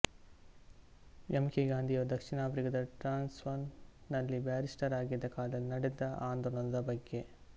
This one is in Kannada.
ಎಮ್ ಕೆ ಗಾಂಧಿಯವರು ದಕ್ಷಿಣ ಆಫ್ರಿಕದ ಟ್ರಾನ್ಸ್ವಾಲ್ ನಲ್ಲಿ ಬ್ಯಾರಿಸ್ಟರ್ ಆಗಿದ್ದ ಕಾಲದಲ್ಲಿ ನಡೆದ ಆಂದೋಲನದ ಬಗ್ಗೆ